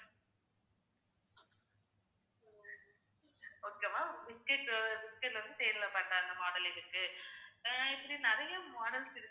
okay வா biscuit உ biscuit வந்து தேன்ல பண்ண அந்த model இருக்கு. அஹ் இப்படி நிறைய models இருக்கு